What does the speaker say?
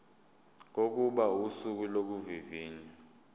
kokuba usuku lokuvivinywa